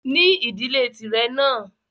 Ní ìdílé tìrẹ náà!